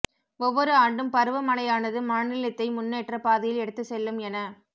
ஒவ்வொரு ஆண்டும் பருவமழையானது மாநிலத்தை முன்னேற்ற பாதையில் எடுத்து செல்லும் என